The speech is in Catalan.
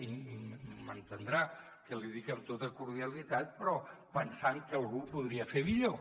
i m’entendrà que l’hi dic amb tota cordialitat però pensant que algú ho podria fer millor